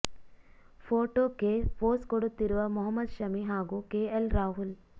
ಫೋಟೋಕ್ಕೆ pose ಕೊಡುತ್ತಿರುವ ಮೊಹಮ್ಮದ್ ಶಮಿ ಹಾಗೂ K L Rahul